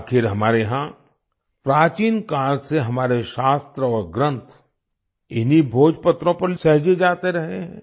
आखिर हमारे यहाँ प्राचीन काल से हमारे शास्त्र और ग्रंथ इन्हीं भोजपत्रों पर सहेजे जाते रहे हैं